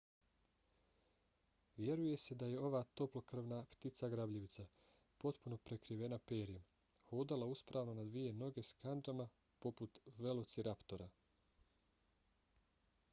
vjeruje se da je ova toplokrvna ptica grabljivica potpuno prekrivena perjem hodala uspravno na dvije noge s kandžama poput velociraptora